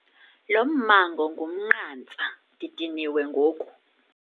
Lo mmango ngumnqantsa , ndidiniwe ngoku.